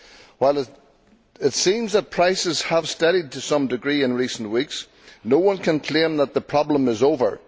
While it seems that prices have steadied to some degree in recent weeks, no one can claim that the problem is over.